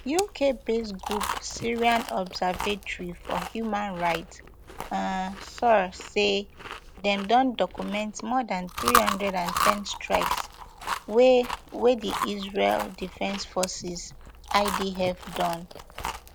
uk based group syrian observatory for human rights um sohr say dem don document more dan three hundred and ten strikes wey wey di israel defense forces idf don